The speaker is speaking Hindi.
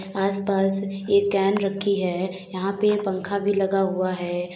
आसपास ये कैन रखी है। यहां पे पंखा भी लगा हुआ है।